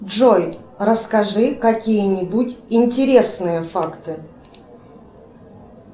джой расскажи какие нибудь интересные факты